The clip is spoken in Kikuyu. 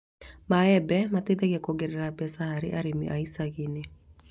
Maembe mateithagia kuongerera mbeca harĩ arĩmi a iciagi-inĩ